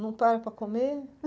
Não para para comer?